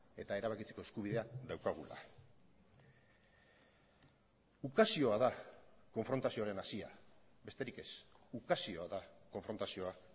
eta erabakitzeko eskubidea daukagula ukazioa da konfrontazioaren hazia besterik ez ukazioa da konfrontazioa